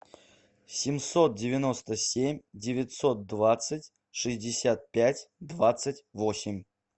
семьсот девяносто семь девятьсот двадцать шестьдесят пять двадцать восемь